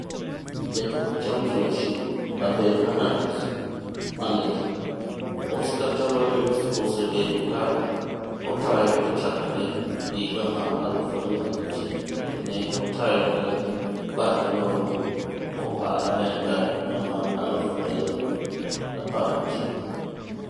Jatuk Championship: Abel Hernandez (Hull) Maneja: Oscar Tabarez osebedo ka otayokochakre higa mar 2006 kendo ne otayogi magi loyo Copa America higa mar 2011.